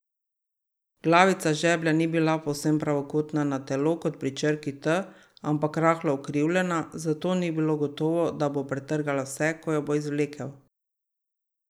Glavica žeblja ni bila povsem pravokotna na telo, kot pri črki T, ampak rahlo ukrivljena, zato ni bilo gotovo, da bo potrgala vse, ko jo bo izvlekel.